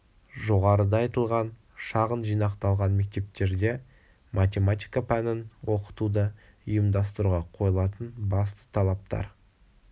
жоғарыда айтылған шағын жинақталған мектептерде математика пәнін оқытуды ұйымдастыруға қойылатын басты талаптар